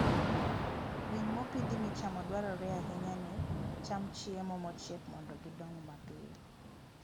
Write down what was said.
Winy mopidhi michamo dwarore ahinya ni cham chiemo mochiek mondo gidong mapiyo.